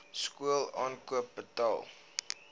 skool aankoop betaal